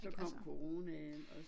Så kom coronaen også